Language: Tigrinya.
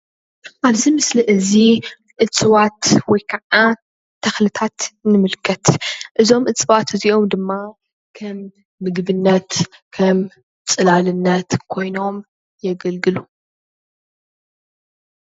ኣብዚ ምስሊ እዚ እፅዋት ወይ ኸዓ ተኽልታት ንምልከት ።እዞም እፅዋት እዚኦሞ ድማ ኸም ምግብነት ኸሞ ፅላልነት ኮይኖም የገልግሉ።